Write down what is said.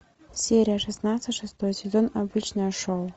серия шестнадцать шестой сезон обычное шоу